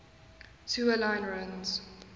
tua line runs